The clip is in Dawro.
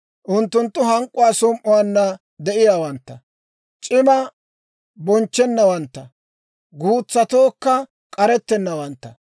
Unttunttu hank'k'uwaa som"uwaanna de'iyaawantta; c'imaa bonchchennawantta; guutsatookka k'arettennawantta.